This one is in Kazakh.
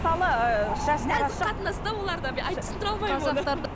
мысалы ыыы шаш нәзік қатынас та оларда бір айтып түсіндере алмай